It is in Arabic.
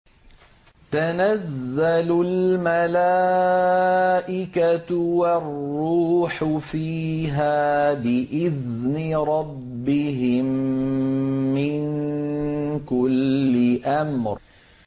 تَنَزَّلُ الْمَلَائِكَةُ وَالرُّوحُ فِيهَا بِإِذْنِ رَبِّهِم مِّن كُلِّ أَمْرٍ